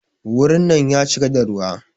Wurin nan ya cika da ruwa.